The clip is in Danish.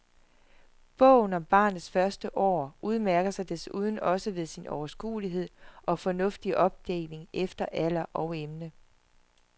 Bogen om barnets første år udmærker sig desuden også ved sin overskuelige og fornuftige opdeling efter alder og emne.